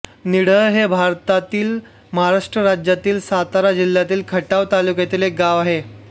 निढळ हे भारतातील महाराष्ट्र राज्यातील सातारा जिल्ह्यातील खटाव तालुक्यातील एक गाव आहे